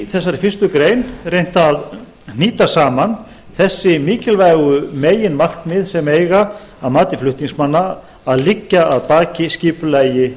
í þessari fyrstu grein er reynt að hnýta saman þessi mikilvægu meginmarkmið sem eiga að mati flutningsmanna að liggja að baki skipulagi